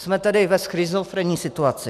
Jsme tedy ve schizofrenní situaci.